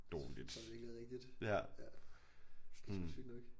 Det tror jeg virkelig er rigtigt ja det er sgu sygt nok